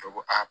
Dɔ ko a